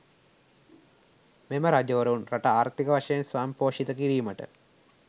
මෙම රජවරුන් රට ආර්ථික වශයෙන් ස්වයංපෝෂිත කිරීමට